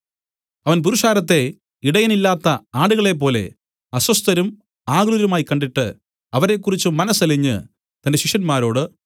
അവൻ പുരുഷാരത്തെ ഇടയനില്ലാത്ത ആടുകളെപ്പോലെ അസ്വസ്ഥരും ആകുലരുമായി കണ്ടിട്ട് അവരെക്കുറിച്ച് മനസ്സലിഞ്ഞ് തന്റെ ശിഷ്യന്മാരോട്